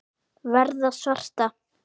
Verða svarta.